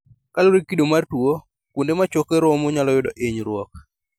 Kaluore gi kido mar tuo, kuonde ma choke romo nyalo yudo inyruok